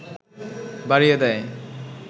বাড়িয়ে দেয়